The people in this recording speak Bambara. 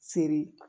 Seri